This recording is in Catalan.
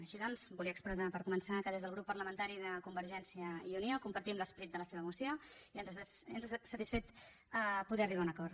així doncs volia expressar per començar que des del grup parlamentari de convergència i unió compartim l’esperit de la seva moció i ens ha satisfet poder arribar a un acord